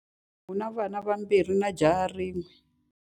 U na vanhwanyana vambirhi na jaha rin'we.